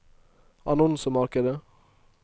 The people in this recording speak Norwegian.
annonsemarkedet